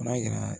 N'a yira